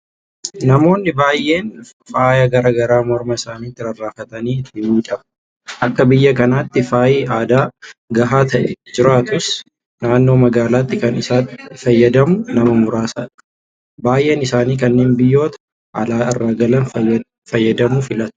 Namoonni baay'een faaya garaa garaa morma isaaniitti rarraafatanii ittiin miidhagu. Akka biyya kanaatti faayyi aadaa gahaa ta'e jiraatus naannoo magaalaatti kan isatti fayyadamu nama muraasadha. Baay'een isaanii kanneen biyyoota alaa irraa galaniin faayamuu filatu.